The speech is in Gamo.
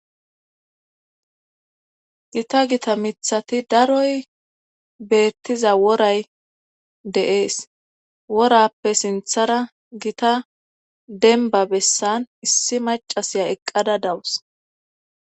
gita gita mithati daroy beettiza woray de'ees worappe sinthara gita denba bessan issi macasiya eqqada dawus